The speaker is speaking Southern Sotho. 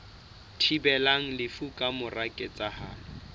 thibelang lefu ka mora ketsahalo